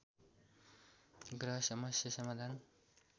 ग्रह समस्या समाधान